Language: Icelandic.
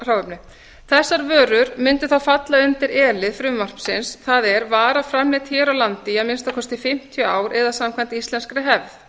hráefni þessar vörur mundu þá falla undir e lið frumvarpsins það er vara framleidd hér á landi í að minnsta kosti fimmtíu ár eða samkvæmt íslenskri hefð